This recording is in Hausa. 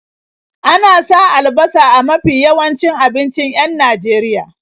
Ana sa albasa a mafi yawancin abincin 'yan Najeria.